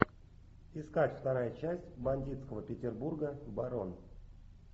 искать вторая часть бандитского петербурга барон